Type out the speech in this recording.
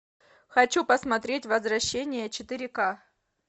хочу посмотреть возвращение четыре к